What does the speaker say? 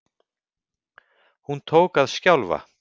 Hún tók að skjálfa.